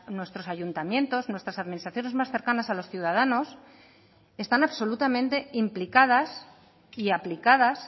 nuestros ayuntamientos nuestras administraciones más cercanas a los ciudadanos están absolutamente implicadas y aplicadas